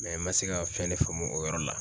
ma se ka fɛn ne faamu o yɔrɔ la.